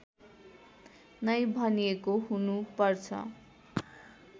नै भनिएको हुनुपर्छ